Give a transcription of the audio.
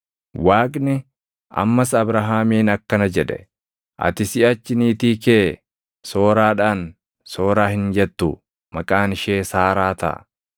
Waaqni ammas Abrahaamiin akkana jedhe; “Ati siʼachi niitii kee Sooraadhaan, Sooraa hin jettu; maqaan ishee Saaraa taʼa.